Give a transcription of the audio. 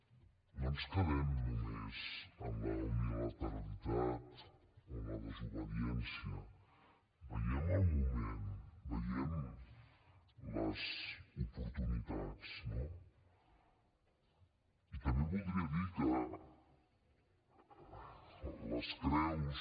no ens quedem només amb la unilateralitat o amb la desobediència veiem el moment veiem les oportunitats no i també voldria dir que les creus